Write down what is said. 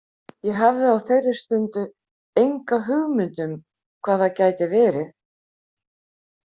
Ég hafði á þeirri stundu enga hugmynd um hvað það gæti verið.